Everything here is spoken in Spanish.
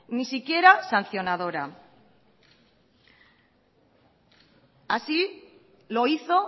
ni siquiera sancionadora así lo hizo